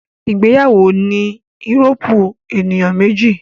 ìgbéyàwó ní a Euróòpu ènìyàn méjì